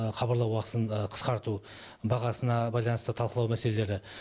хабарлау уақытысын қысқарту бағасына байланысты талқылау мәселелері